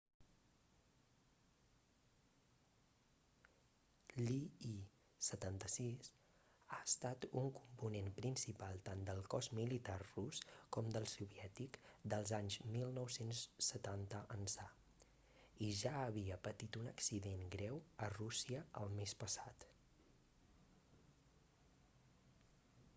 l'il-76 ha estat un component principal tant del cos militar rus com del soviètic dels anys 1970 ençà i ja havia patit un accident greu a rússia el mes passat